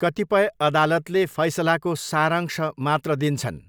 कतिपय अदालतले फैसलाको सारांश मात्र दिन्छन्।